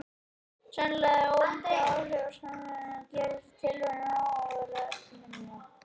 Sennilega eru það hin óvæntu áhrif af samsetningunni sem gerir tilraunina svo áhugaverða og eftirminnilega.